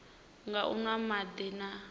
nga u nwa madi na